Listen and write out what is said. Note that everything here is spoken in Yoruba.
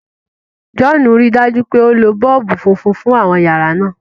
John ríi dájú pé o ló boolubu fúnfún fún àwọn yàrá náa.